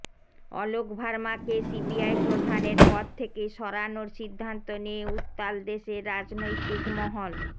অলোক ভার্মাকে সিবিআই প্রধানের পদ থেকে সরানোর সিদ্ধান্ত নিয়ে উত্তাল দেশের রাজনৈতিক মহল